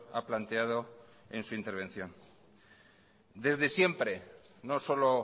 ha planteado en su intervención desde siempre no solo